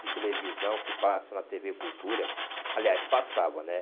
de televisão que passa na tê vê Cultura, aliás, passava, né?